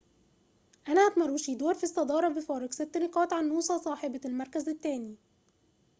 أنهت ماروشيدور في الصدارة بفارق ست نقاط عن نوسا صاحبة المركز الثاني